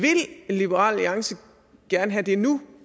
liberal alliance gerne have det nu